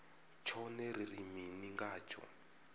tshone ri ri mini ngatsho